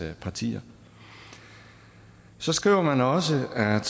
partier så skriver man også at